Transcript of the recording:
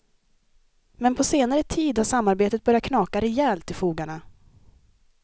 Men på senare tid har samarbetet börjat knaka rejält i fogarna.